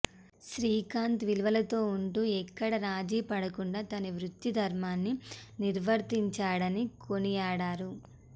శ్రీకాంత్ విలువలతో ఉంటూ ఎక్కడ రాజీపడకుండ తన వృత్తి దర్మాన్ని నిర్వర్తించాడని కొనియాడారు